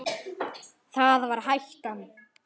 Það var hættan.